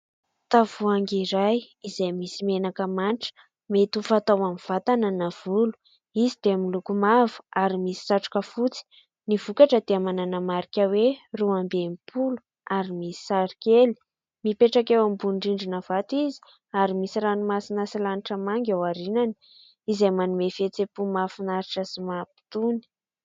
Tavoahangy iray izay misy menaka mandry mety ho fatao amin'ny vatana na volo. Izy dia miloko mavo ary misy satroka fotsy. Ny vokatra dia manana marika hoe roa amby enimpolo ary misy sary kely. Mipetraka eo ambony rindrina vato izy ary misy ranomasina sy lanitra manga eo arinany izay manome fihetseham-po mahafinaritra sy mampitony.